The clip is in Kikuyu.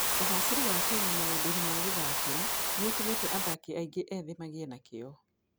Ũgaacĩru wa Kenya maũndũ-inĩ ma gũthakĩra nĩ ũtũmĩte athaki aingĩ ethĩ magĩe na kĩyo.